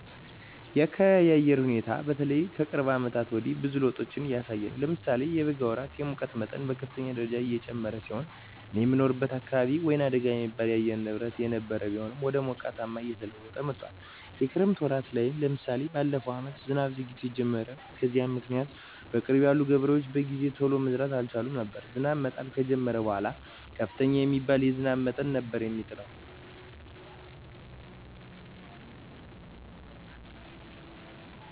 የአካቢየ የአየር ሁኔታ በተለይ ከቅርብ አመታት ወዲህ ብዙ ለዉጦች እያሳየ ነው። ለምሳሌ የበጋ ወራት የሙቀት መጠን በከፍተኛ ደረጃ የጨመረ ሲሆን እኔ የምኖርበት አካባቢ ወይናደጋ የሚባል የአየር ንብረት የነበረው ቢሆንም ወደ ሞቃታማነት እየተለወጠ መጥቶአል። የክረምት ወራት ላይም ለምሳሌ በለፈው አመት ዝናብ ዘግይቶ የጀመረው። በዚህም ምክኒያት በቅርብ ያሉ ገበሬዎች በጊዜ ቶሎ መዝራት አልቻሉም ነበር። ዝናብ መጣል ከጀመረም በኃላ ከፍተኛ የሚባል የዝናብ መጠን ነበር የሚጥለው።